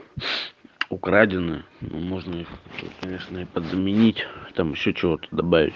украденную ну можно конечно и подменить там ещё чего-то добавить